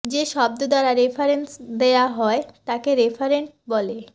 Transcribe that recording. যে শব্দ দ্বারা রেফারেন্স দেয়া হয় তাকে রেফারেন্ট বলে